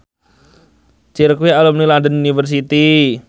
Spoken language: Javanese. Cher kuwi alumni London University